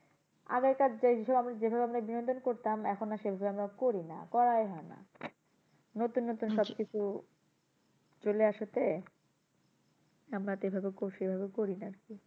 আগেকার দেখবে যে ভাবে আমরা বিনোদন করতাম এখন আর সেভাবে আমরা করিনা করাই হয় না। নতুন নতুন সবকিছু চলে এসেছে আমরা তো এভাবে করি সে ভাবে করিনা আরকি।